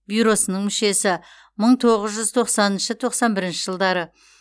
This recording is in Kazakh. бюросының мүшесімың тоғыз жүз тоқсаныншы тоқсан бірінші жылдары